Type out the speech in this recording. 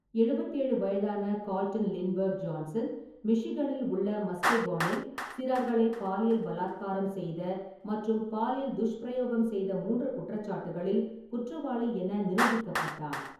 எழுபத்தி ஏழு வயதான கால்டன் லிண்ட்பெர்க் ஜான்சன், மிஷிகனில் உள்ள மஸ்கெகோனில் சிறார்களை பாலியல் பலாத்காரம் செய்த மற்றும் பாலியல் துஷ்பிரயோகம் செய்த மூன்று குற்றச்சாட்டுகளில் குற்றவாளி என நிரூபிக்கப்பட்டார்.